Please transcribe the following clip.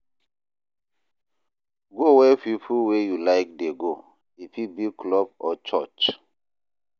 Go where pipo wey you like dey go, e fit be club or church.